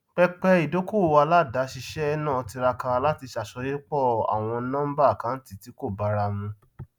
pẹpẹ ìdókòwò aládàáṣiṣẹ náà tiraka láti ṣàsọyépọ àwọn nọmbà àkáńtì tí kò báramu